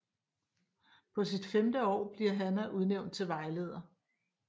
På sit femte år bliver Hannah udnævnt til Vejleder